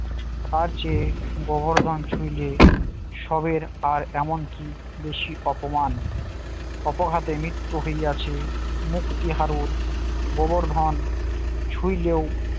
তার চেয়ে গোবর্ধন ছুইলে সবের আর এমন কি বেশি অপমান অপঘাতে মৃত্যু হইয়াছে মুক্তি হাড়ুর গোবর্ধন ছুইলেও